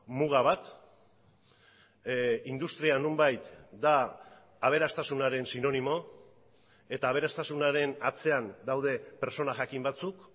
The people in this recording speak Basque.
muga bat industria nonbait da aberastasunaren sinonimo eta aberastasunaren atzean daude pertsona jakin batzuk